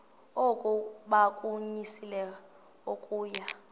oku bakunyelise okuya